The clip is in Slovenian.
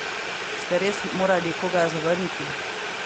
Ste res morali koga zavrniti?